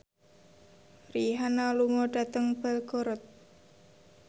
Rihanna lunga dhateng Belgorod